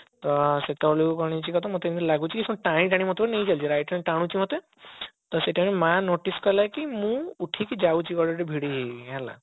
ତ ସେତେବେଳକୁ କଣ ହେଇଛି କହ ତ ମତେ ଏମତି ଲାଗୁଛି କି ଟାଣି ଟାଣି ମତେ ପୁରା ନେଇ ଚାଲିଗଲା right hand ରୁ ଟାଣୁଛି ମତେ ତ ସେଇ time ରେ ମା notice କଲା କି ମୁଁ ଉଠିକି ଯାଉଛି କୁଆଡେ ଗୋଟେ ଭିଡି ହେଇ ହେଇ ହେଲା